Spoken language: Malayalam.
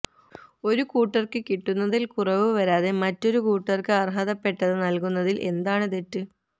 ഒരു കൂട്ടര്ക്ക് കിട്ടുന്നതില് കുറവ് വരാതെ മറ്റൊരു കൂട്ടര്ക്ക് അര്ഹതപ്പെട്ടത് നല്കുന്നതില് എന്താണ് തെറ്റ്